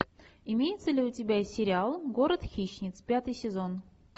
имеется ли у тебя сериал город хищниц пятый сезон